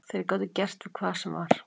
Þeir gátu gert við hvað sem var.